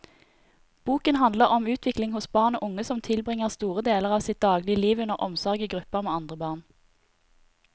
Boken handler om utvikling hos barn og unge som tilbringer store deler av sitt dagligliv under omsorg i gruppe med andre barn.